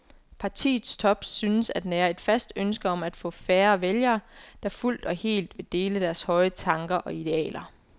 Partiets top synes at nære et fast ønske om at få færre vælgere, der fuldt og helt vil dele deres høje tanker og idealer.